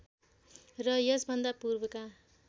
र यसभन्दा पूर्वका